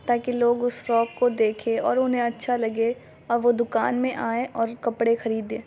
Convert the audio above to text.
ताकि लोग उस फ़्राक को देखे और उन्हें अच्छा लगे और वो दुकान में आये और कपड़े ख़रीदे।